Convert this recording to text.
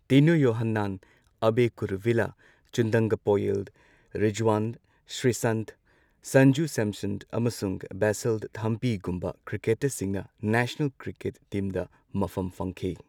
ꯇꯤꯅꯨ ꯌꯣꯍꯥꯟꯅꯥꯟ, ꯑꯕꯦ ꯀꯨꯔꯨꯚꯤꯜꯂꯥ, ꯆꯨꯟꯗꯪꯒꯄꯣꯌꯤꯜ ꯔꯤꯖꯋꯥꯟ, ꯁ꯭ꯔꯤꯁꯥꯟꯊ, ꯁꯟꯖꯨ ꯁꯦꯝꯁꯟ ꯑꯃꯁꯨꯡ ꯕꯦꯁꯤꯜ ꯊꯥꯝꯄꯤꯒꯨꯝꯕ ꯀ꯭ꯔꯤꯀꯦꯇꯔꯁꯤꯡꯅ ꯅꯦꯁꯅꯦꯜ ꯀ꯭ꯔꯤꯀꯦꯠ ꯇꯤꯝꯗ ꯃꯐꯝ ꯐꯪꯈꯤ꯫